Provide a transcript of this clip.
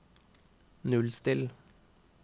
nullstill